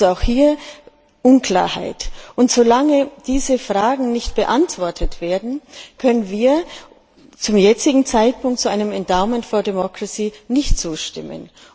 Also besteht auch hier Unklarheit. Solange diese Fragen nicht beantwortet werden, können wir zum jetzigen Zeitpunkt so einem Endowment for Democracy nicht zustimmen.